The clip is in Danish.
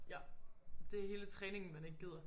Ja. Det hele træningen man ikke gider